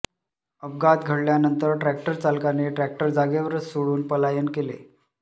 अपघात घडल्यानंतर ट्रॅक्टर चालकाने ट्रॅक्टर जागेवरच सोडून पलायन केले